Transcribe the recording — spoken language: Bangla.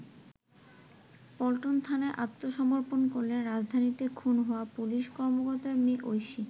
পল্টন থানায় আত্মসমর্পন করলেন রাজধানীতে খুন হওয়া পুলিশ কর্মকর্তার মেয়ে ঐশী।